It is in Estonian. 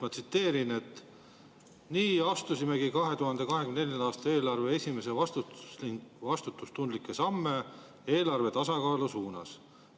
Ma tsiteerin: "Nii astumegi 2024. aasta eelarvega esimesi vastutustundlikke samme eelarve tasakaalu suunas.